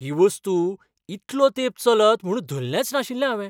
ही वस्तू इतलो तेंप चलत म्हूण धल्लेंच नाशिल्लें हावें.